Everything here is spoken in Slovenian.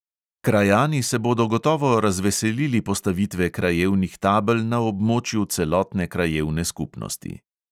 Krajani se bodo gotovo razveselili postavitve krajevnih tabel na območju celotne krajevne skupnosti.